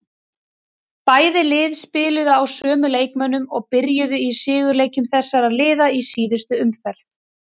Bæði lið spiluðu á sömu leikmönnum og byrjuðu í sigurleikjum þessara liða í síðustu umferð.